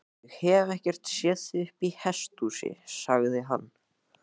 Ég hef ekkert séð þig uppi í hesthúsi, sagði hann.